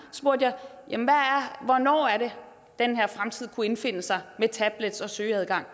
hvornår den her fremtid kunne indfinde sig med tablets og søgeadgang